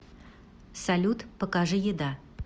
салют покажи еда